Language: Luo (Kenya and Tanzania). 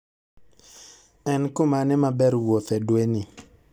En kumane maber wuothe dwe ni